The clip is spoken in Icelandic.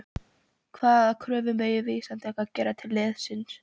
Hvaða kröfur megum við Íslendingar gera til liðsins?